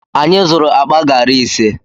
Anyị zụrụ akpa gari ise.